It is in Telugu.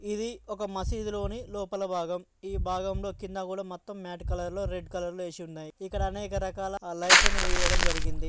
ఇది ఒక మసీదు లోని లోపల భాగం.ఈ భాగంలో కింద కూడా మొత్తం మాట్ కలర్ లో రెడ్ కలర్ లో ఏసి ఉన్నాయ్ఇ. క్కడ అనేక రకాల ఆ లైట్.